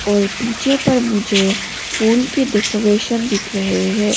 और पीछे पर मुझे फूल के डेकोरेशन दिख रहे है।